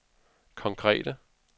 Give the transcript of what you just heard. konkrete